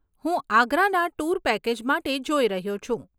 હું આગ્રાના tour package માટે જોઈ રહ્યો છું.